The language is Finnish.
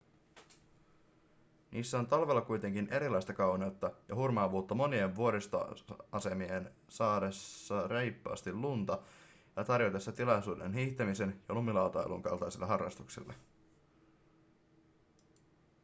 niissä on talvella kuitenkin erilaista kauneutta ja hurmaavuutta monien vuoristoasemien saadessa reippaasti lunta ja tarjotessa tilaisuuden hiihtämisen ja lumilautailun kaltaisille harrastuksille